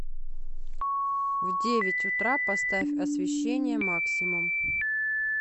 в девять утра поставь освещение максимум